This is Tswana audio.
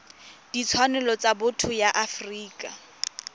ditshwanelo tsa botho ya afrika